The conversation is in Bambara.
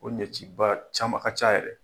Ko ɲɛci ba, caman a ka ca yɛrɛ.